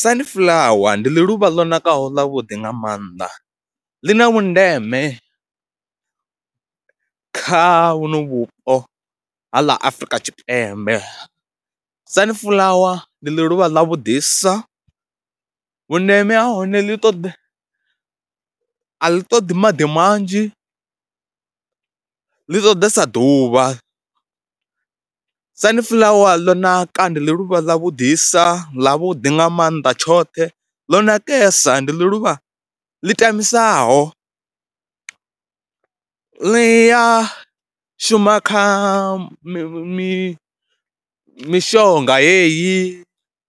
Sunflower ndi ḽi luvha ḽo nakaho ḽavhuḓi nga maanḓa, ḽi na vhundeme kha vhuno vhupo ha ḽa Afrika Tshipembe. Sunflower ndi ḽi luvha ḽavhuḓisa, vhundeme ha hone ḽi ṱoḓa, a ḽi ṱoḓi maḓi manzhi, ḽi ṱoḓesa ḓuvha. Sunflower ḽo naka ndi ḽi luvha ḽa vhuḓisa ḽavhuḓi nga mannḓa tshoṱhe, ḽo nakesa. Ndi ḽi luvha ḽi tamisaho, ḽi ya shuma kha mi mi mishonga yeyi,